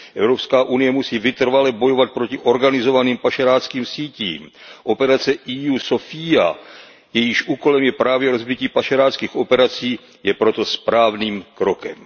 Evropská unie musí vytrvale bojovat proti organizovaným pašeráckým sítím. Operace EU Sophia, jejíž úkolem je právě rozbití pašeráckých operací, je proto správným krokem.